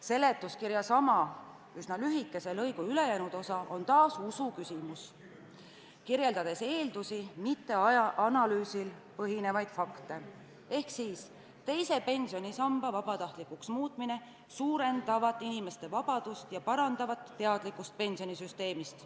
Seletuskirja sama, üsna lühikese lõigu ülejäänud osa on taas usu küsimus, kirjeldatakse eeldusi, mitte analüüsil põhinevaid fakte: teise pensionisamba vabatahtlikuks muutmine suurendavat inimeste vabadust ja parandavat teadlikkust pensionisüsteemist.